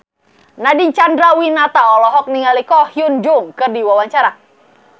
Nadine Chandrawinata olohok ningali Ko Hyun Jung keur diwawancara